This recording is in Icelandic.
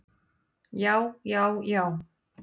Já, já, já!